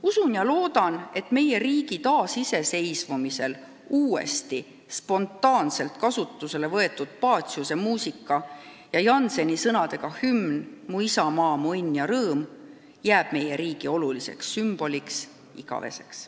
Usun ja loodan, et meie riigi taasiseseisvumise ajal uuesti, spontaanselt kasutusele võetud Paciuse muusika ja Jannseni sõnadega hümn "Mu isamaa, mu õnn ja rõõm" jääb meie riigi oluliseks sümboliks igaveseks.